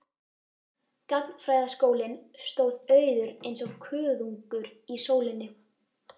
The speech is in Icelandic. Gagnfræðaskólinn stóð auður eins og kuðungur í sólinni.